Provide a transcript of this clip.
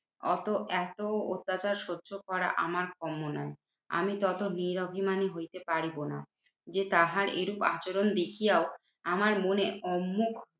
অত এত অত্যাচার সহ্য করা আমার কম্ম নয়। আমি তত নিরভিমানী হইতে পারিবো না। যে তাহার এইরূপ আচরণ দেখিয়াও আমার মনে অম্মুখ